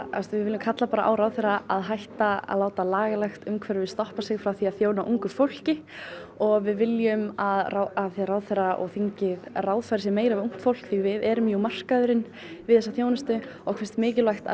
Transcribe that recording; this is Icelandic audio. við viljum kalla á ráðherra að hætta að láta lagalegt umhverfi stoppa sig frá því að þjóna ungu fólki og við viljum að ráðherra og þingið ráðfæri sig meira við ungt fólk því við erum jú markaðurinn við þessa þjónustu okkur finnst mikilvægt að